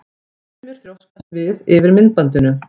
Sumir þrjóskast við yfir myndbandinu.